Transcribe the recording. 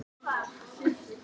Vil gera gagn